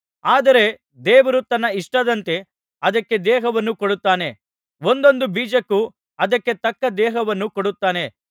ಆದರೆ ದೇವರು ತನ್ನ ಇಷ್ಟದಂತೆ ಅದಕ್ಕೆ ದೇಹವನ್ನು ಕೊಡುತ್ತಾನೆ ಒಂದೊಂದು ಬೀಜಕ್ಕೂ ಅದಕ್ಕೆ ತಕ್ಕ ದೇಹವನ್ನು ಕೊಡುತ್ತಾನೆ